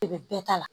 De bɛ bɛɛ ta la